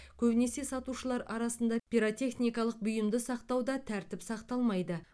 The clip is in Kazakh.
көбінесе сатушылар арасында пиротехникалық бұйымды сақтауда тәртіп сақталмайды